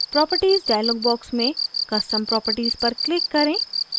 properties dialog box में custom properties पर click करें